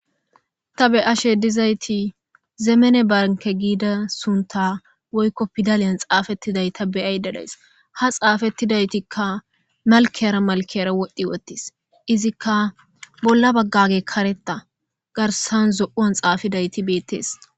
Ta be ashe dizayti zeemene barke giida sunta woykko pidaliyan xaafettiday ta beyay dedays ha xaafettidaytikka malkeyara malkera wodhdhi wottis izikka bolla baggage kareta garsan zoan xaafidayti beettees.